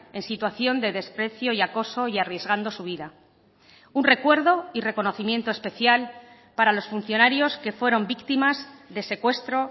en situación de desprecio y acoso y arriesgando su vida un recuerdo y reconocimiento especial para los funcionarios que fueron víctimas de secuestro